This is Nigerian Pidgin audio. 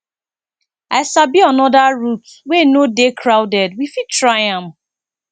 i sabi another route wey no dey crowded we fit try am